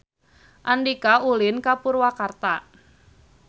Andika ulin ka Purwakarta